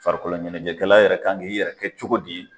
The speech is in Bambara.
Farikolo ɲɛnajɛkɛla yɛrɛ k'an k'i yɛrɛ kɛ cogo di.